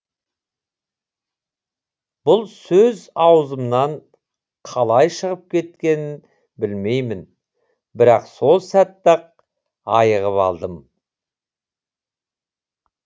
бұл сөз аузыман қалай шығып кеткенін білмеймін бірақ сол сәтте ақ айығып алдым